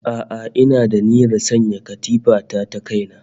A'a ina da niyyar sayan katifa ta ta kaina